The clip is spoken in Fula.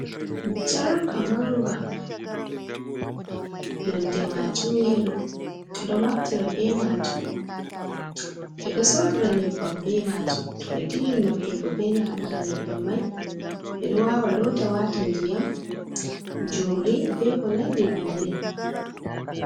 Jalka manga nonde maajum yelo, ɓe ɗo naftira be maajum ɓe ɗo soodira nyebbam, be maajum to ɓe timmini nafturgo be nyabbam mai ɓeɗo waawa loota Wata diyam, jumri, be ko nanndi bannin.